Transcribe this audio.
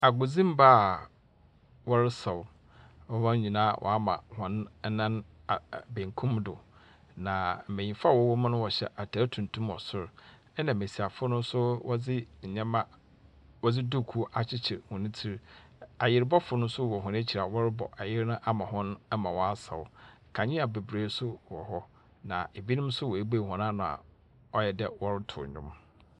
Agudzimma wɔresau na wonyinaa waama wɔnan benkum do na mmenyinfo a wɔwɔ mu no wɔhyɛ ntar tuntum wɔ sro nna mmesiafo no wɔdi dukuu akyikyri wɔne ti. Ayiribɔfu no so wɔ wɔn wkyi a wɔrebɔ ayiri no ama wɔn ama waasau. Kanea bebree so wɔ hɔ na ebinom so webue wɔn ano a ɔyɛ dɛɛ wɔrituu nwom.